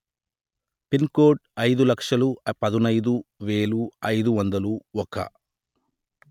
pin code అయిదు లక్షలు పదునయిదు వెలు అయిదు వందలు ఒక